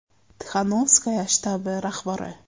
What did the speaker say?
Tixanovskaya shtabi rahbari.